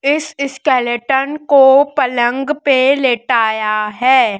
इस स्केलेटन को पलंग पे लेटाया है।